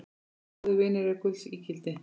Góðir vinir eru gulls ígildi.